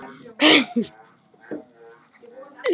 Vilborg Vala og Eva Hrund.